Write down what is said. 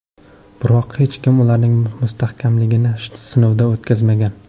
Biroq hech kim ularning mustahkamligini sinovdan o‘tkazmagan.